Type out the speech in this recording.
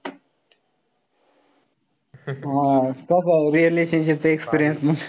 तो भाऊ relationship चा experience मंग.